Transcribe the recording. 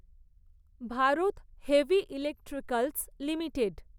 Bharat heavy electricals limited